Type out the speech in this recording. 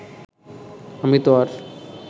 আমি তো আর